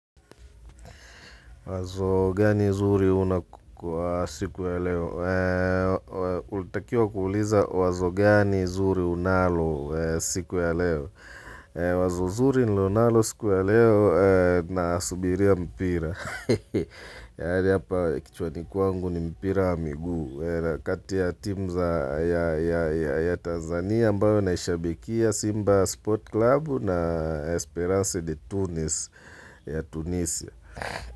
Wazo gani zuri una kukua siku ya leo? Ulitakiwa kuuliza wazo gani zuri unalo siku ya leo? Wazo zuri nililonalo siku ya leo nasubiria mpira. Yani hapa kichwani kwangu ni mpira wa miguu. Kati ya timu za ya Tanzania ambayo naishabikia Simba Sport Club na Esperance de Tunis ya Tunisia.